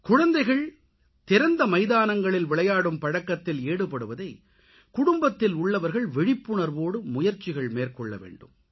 குழந்தைகள் திறந்த மைதானங்களில் விளையாடும் பழக்கத்தில் ஈடுபடுவதை குடும்பத்தில் உள்ளவர்கள் விழிப்புணர்வோடு முயற்சிகள் மேற்கொள்ளவேண்டும்